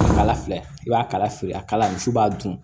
Kala kala filɛ i b'a kala feere a kala misi b'a dun